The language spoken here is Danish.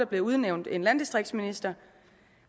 blev udnævnt en landdistriktsminister